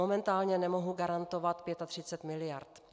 Momentálně nemohu garantovat 35 miliard.